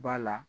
Ba la